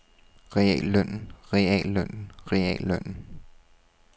reallønnen reallønnen reallønnen